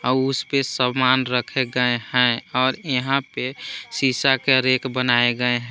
आ उसपे समान रखे गए हैं और यहां पे सीसा के रैक बनाए गए हैं।